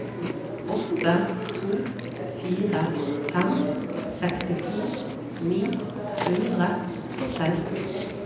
åtte to fire fem sekstito ni hundre og seksten